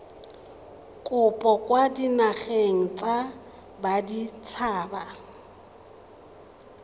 kopo kwa dinageng tsa baditshaba